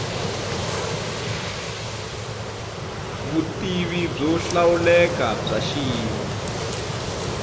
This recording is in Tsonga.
vutivi byo hlawuleka bya xiyimo